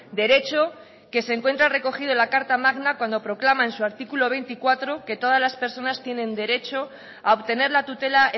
derecho que se encuentra recogido en la carta magna cuando proclama en su artículo veinticuatro que todas las personas tienen derecho a obtener la tutela